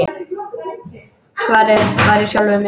Svarið var í sjálfum mér.